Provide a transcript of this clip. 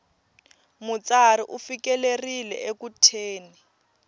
mutsari u fikelerile eku thyeni